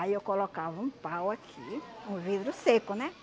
Aí eu colocava um pau aqui, um vidro seco, né?